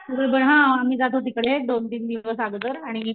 हा आम्ही जातो तिकडे एक दोन तीन दिवस आगोदर आणि